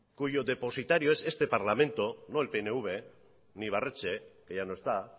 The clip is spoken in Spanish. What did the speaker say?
cuyo depositario es este parlamento no el pnv ni ibarretxe que ya no está